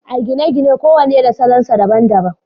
a gine-gine kowane da salon sa daban daban